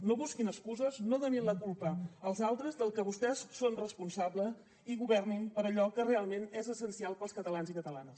no busquin excuses no donin la culpa als altres del que vostès són responsables i governin per a allò que realment és essencial per als catalans i catalanes